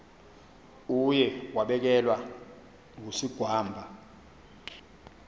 uye wabelekwa ngusigwamba